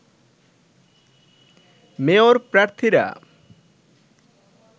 mayor প্রার্থীরা